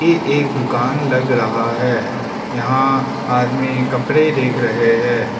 ए एक दुकान लग रहा है यहां आदमी कपड़े देख रहे हैं।